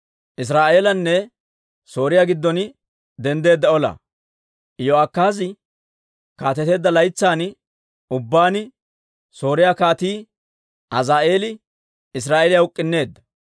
Iyo'akaazi kaateteedda laytsan ubbaan Sooriyaa Kaatii Azaa'eeli Israa'eeliyaa uk'k'unneedda.